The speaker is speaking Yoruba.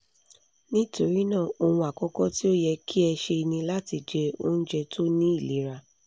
nitorinaa ohun akọkọ ti o yẹ ki ẹ ṣe ni lati jẹ ounjẹ to ni ilera